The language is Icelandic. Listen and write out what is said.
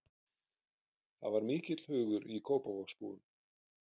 Það er mikill hugur í Kópavogsbúum.